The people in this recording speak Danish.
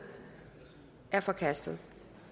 er forkastet